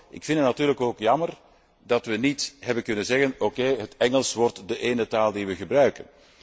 Ik vind het natuurlijk jammer dat we niet hebben kunnen zeggen, okay, het Engels wordt de ene taal die we gebruiken.